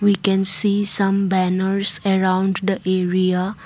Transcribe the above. we can see some banners around the area.